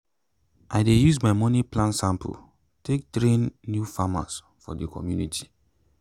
i dey use my money plan sample take train new farmers for the community.